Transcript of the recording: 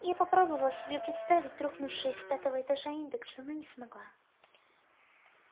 я попробовала себе представить рухнувшие с пятого этажа индексы но не смогла